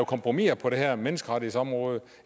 kompromiser på det her menneskerettighedsområde